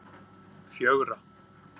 fjögurra